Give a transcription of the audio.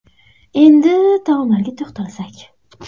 Endi taomlarga to‘xtalsak.